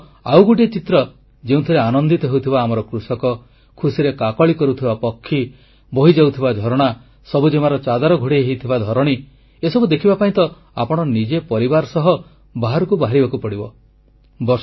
ଏହି ଋତୁର ଆଉ ଗୋଟିଏ ଚିତ୍ର ଯେଉଁଥିରେ ଆନନ୍ଦିତ ହେଉଥିବା ଆମର କୃଷକ ଖୁସିରେ କାକଳୀ କରୁଥିବା ପକ୍ଷୀ ବହିଯାଉଥିବା ଝରଣା ସବୁଜିମାର ଚାଦର ଘୋଡ଼େଇ ହୋଇଥିବା ଧରଣୀ ଏସବୁ ଦେଖିବା ପାଇଁ ତ ଆପଣ ନିଜେ ପରିବାର ସହ ବାହାରକୁ ବାହାରିବାକୁ ପଡ଼ିବ